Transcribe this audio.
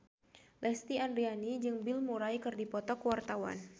Lesti Andryani jeung Bill Murray keur dipoto ku wartawan